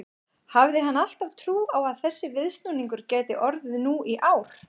Hafði hann alltaf trú á að þessi viðsnúningur gæti orðið nú í ár?